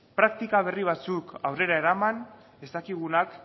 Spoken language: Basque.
praktika berri batzuk aurrera eraman ez dakigunak